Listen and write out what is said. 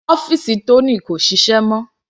Ọ́fìsì Tony kò ṣiṣẹ́ mọ́.